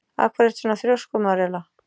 Af hverju ertu svona þrjóskur, Marela?